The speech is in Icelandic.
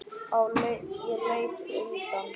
Ég leit undan.